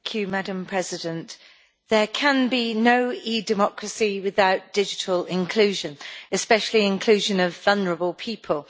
Madam President, there can be no e democracy without digital inclusion, especially inclusion of vulnerable people.